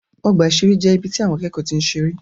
Ọgbà ìṣeré jẹ́ ibi tí àwọn akẹ́kọ̀ọ́ ti ń seré.